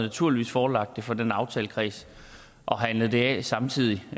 naturligvis forelagt det for den aftalekreds og handlet det af samtidig